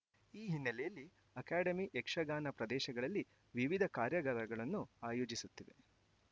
ಈ ಹಿನ್ನೆಲೆಯಲ್ಲಿ ಅಕಾಡೆಮಿ ಯಕ್ಷಗಾನ ಪ್ರದೇಶಗಳಲ್ಲಿ ವಿವಿಧ ಕಾರ್ಯಾಗಾರಗಳನ್ನು ಆಯೋಜಿಸುತ್ತಿದೆ